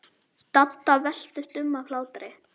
Dadda veltist um af hlátri.